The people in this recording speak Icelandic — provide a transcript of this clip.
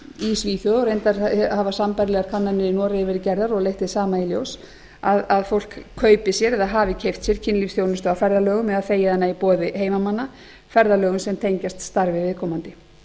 í svíþjóð reyndar hafa sambærilegar kannanir í noregi verið gerðar og leitt hið sama í ljós að fólk kaupi sér eða hafi keypt sér kynlífsþjónustu á ferðalögum eða þegið hana í boði heimamanna ferðalögum sem tengjast starfi viðkomandi